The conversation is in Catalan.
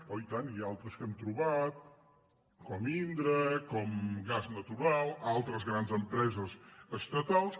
oi tant i altres que hem trobat com indra com gas natural altres grans empreses estatals